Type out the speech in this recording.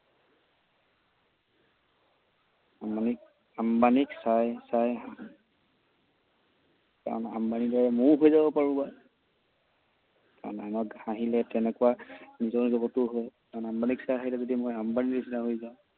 আম্বানিক চাই চাই হাঁহো। কাৰণ আম্বানিৰ দৰে ময়ো হৈ যাব পাৰো বা। কাৰণ মানুহক হাঁহিলে তেনেকুৱা নিজৰ লগতো হয়। কাৰণ আম্বানিক চাই হাঁহিলে যদি মই আম্বানিৰ নিচিনা হৈ যাওঁ,